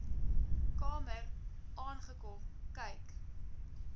kamer aangekom kyk